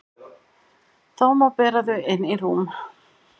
Þá má bera þau inn í rúm.